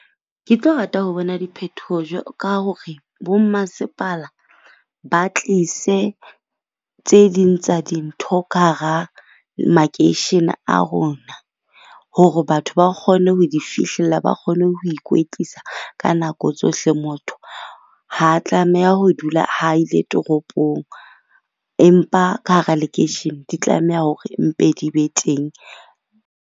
Ke tlo rata ho bona diphethoho ka hore bo mmasepala ba tlise tse ding tsa dintho ka hara makeishene a rona. Hore batho ba kgone ho di fihlella, ba kgone ho ikwetlisa ka nako tsohle. Motho ha tlameha ho dula ha ile toropong, empa ka hara lekeishene di tlameha hore mpe di be teng.